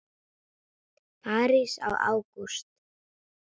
París í ágúst